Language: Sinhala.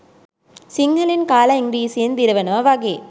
සිංහලෙන් කාලා ඉංග්‍රිසියෙන් දිරවනවා වගේ